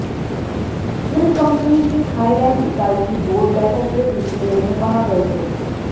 slim company की Thailand इकाई की बोर्ड बैठक के सिलसिले में वहां गए थे